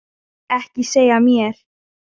Ekki segja mér,